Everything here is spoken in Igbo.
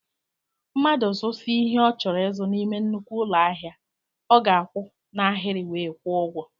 Mmadụ zusia ihe ọ chọrọ ịzụ n'ime nnukwu ụlọ ahịa, ọ ga akwụ na ahiri wee kwụọ ụgwọ